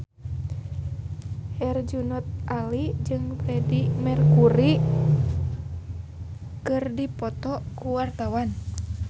Herjunot Ali jeung Freedie Mercury keur dipoto ku wartawan